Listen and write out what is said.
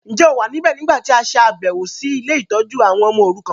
Njẹ́ o wa níbẹ̀ nígbàtí a ṣàbẹ̀wọ̀ si ile-itójú àwon ọmọ orukan?